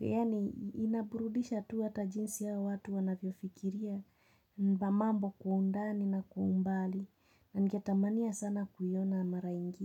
Yani inaburudisha tu hata jinsi hao watu wanavyofikiria za mambo kwa undani na kwa umbali na ngetamania sana kuyona mara ingi.